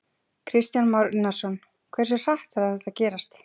Kristján Már Unnarsson: Hversu hratt þarf þetta að gerast?